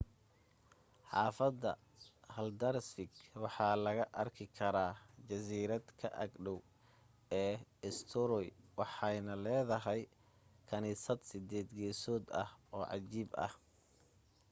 xaafada haldarsvík waxa laga arki karaa jasiirada ka ag dhow ee eysturoy waxayna leedahay kaniisad sideed geesood ah oo cajiib ah